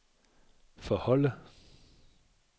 forholde